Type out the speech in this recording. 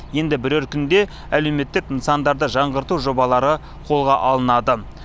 енді бірер күнде әлеуметтік нысандарды жаңғырту жобалары қолға алынады